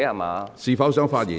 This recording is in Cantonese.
你是否想發言？